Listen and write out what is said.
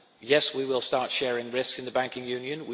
Yes, we will start sharing risk in the banking union.